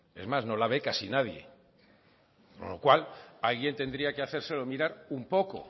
es más no la ve casi nadie con lo cual alguien tendría que hacérselo mirar un poco